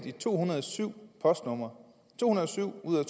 i to hundrede og syv postnummer to hundrede og syv ud af